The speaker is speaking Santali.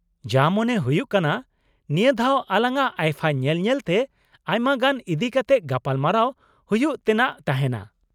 ᱡᱟ ᱢᱚᱱᱮ ᱦᱩᱭᱩᱜ ᱠᱟᱱᱟ, ᱱᱤᱭᱟᱹ ᱫᱷᱟᱣ ᱟᱞᱟᱝᱟᱜ ᱟᱭᱯᱷᱟ ᱧᱮᱞ ᱧᱮᱞᱛᱮ ᱟᱭᱢᱟ ᱜᱟᱱ ᱤᱫᱤ ᱠᱟᱛᱮᱫ ᱜᱟᱯᱟᱞ ᱢᱟᱨᱟᱣ ᱦᱩᱭᱩᱜ ᱛᱮᱱᱟᱜ ᱛᱟᱦᱮᱱᱟ ᱾